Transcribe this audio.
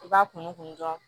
I b'a kunkun kun dɔn